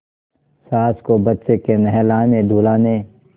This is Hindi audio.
सास को बच्चे के नहलानेधुलाने